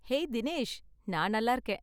Hey Dinesh! நான் நல்லா இருக்கேன்.